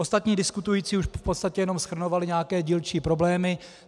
Ostatní diskutující už v podstatě jenom shrnovali nějaké dílčí problémy.